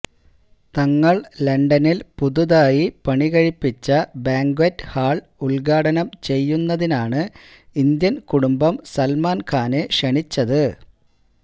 തങ്ങള് ലണ്ടനില് പുതുതായി പണികഴിപ്പിച്ച ബാങ്ക്വറ്റ് ഹാള് ഉദ്ഘാടനം ചെയ്യുന്നതിനാണ് ഇന്ത്യന് കുടുംബം സല്മാന് ഖാനെ ക്ഷണിച്ചത്